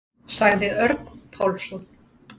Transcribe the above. Sagði Örn Pálsson.